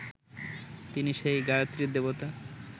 তিনি সেই গায়ত্রীর দেবতা